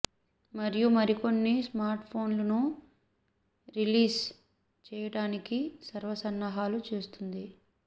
మరియు మరికొన్ని smart phones ను రిలీస్ చేయటానికి సర్వ సన్నాహాలు చేస్తుంది